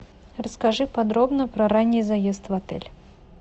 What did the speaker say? расскажи подробно про ранний заезд в отель